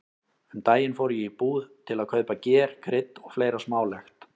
Um daginn fór ég í búð til að kaupa ger, krydd og fleira smálegt.